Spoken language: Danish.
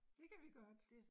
Det kan vi godt